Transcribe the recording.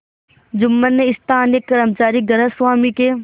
जुम्मन ने स्थानीय कर्मचारीगृहस्वामीके